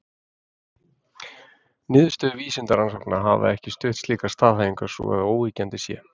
niðurstöður vísindarannsókna hafa ekki stutt slíkar staðhæfingar svo að óyggjandi sé